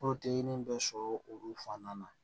bɛ sɔrɔ olu fana na